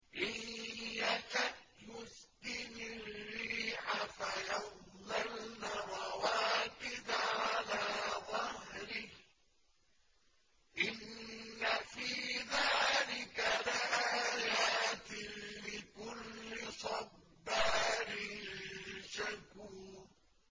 إِن يَشَأْ يُسْكِنِ الرِّيحَ فَيَظْلَلْنَ رَوَاكِدَ عَلَىٰ ظَهْرِهِ ۚ إِنَّ فِي ذَٰلِكَ لَآيَاتٍ لِّكُلِّ صَبَّارٍ شَكُورٍ